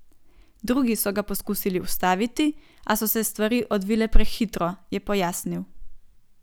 Drugi so ga poskusili ustaviti, a so se stvari odvile prehitro, je pojasnil.